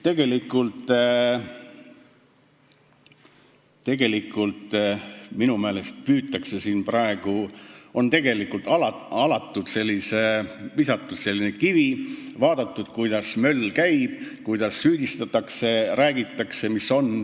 Minu meelest on siin praegu alatult visatud selline kivi, vaadatud, kuidas möll käib, kuidas süüdistatakse ja millest räägitakse.